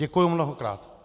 Děkuju mnohokrát.